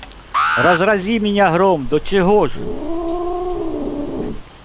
разрази меня гром до чего ж